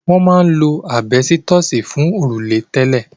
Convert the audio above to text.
Wọ́n máa ń lo àbẹ́stọ̀sì fún òrùlé tẹ́lẹ̀.